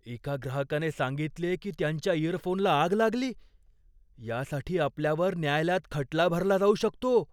एका ग्राहकाने सांगितले की त्यांच्या इयरफोनला आग लागली. यासाठी आपल्यावर न्यायालयात खटला भरला जाऊ शकतो.